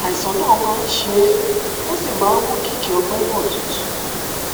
àìsàn náà máa ń ṣe é ó sì máa ń mú kí kí ọgbẹ náà tútù